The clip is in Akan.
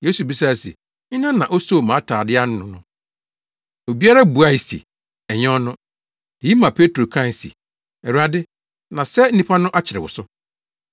Yesu bisae se, “Hena na osoo mʼatade ano no no?” Obiara buae se ɛnyɛ ɔno. Eyi maa Petro kae se, “Awurade, na sɛ nnipa no akyere wo so.”